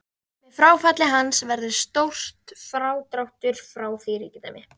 Með fráfalli hans verður stór frádráttur frá því ríkidæmi.